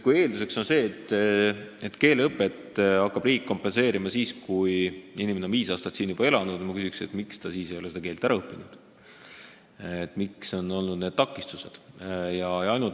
Kui eelduseks on see, et riik hakkab keeleõpet kompenseerima siis, kui inimene on siin juba viis aastat elanud, siis ma küsin, miks ta ei ole seda keelt ära õppinud, mis on olnud need takistused.